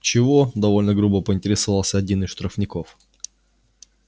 чего довольно грубо поинтересовался один из штрафников